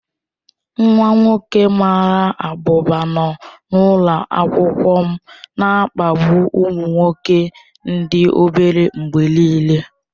Nwa nwoke mara abụba nọ n'ụlọ akwụkwọ m na-akpagbu ụmụ nwoke ndị obere mgbe niile.